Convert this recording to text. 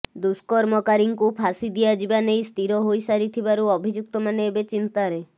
ଦୁଷ୍କର୍ମକାରୀଙ୍କୁ ଫାଶୀ ଦିଆଯିବା ନେଇ ସ୍ଥିର ହୋଇସାରିଥିବାରୁ ଅଭିଯୁକ୍ତମାନେ ଏବେ ଚିନ୍ତାରେ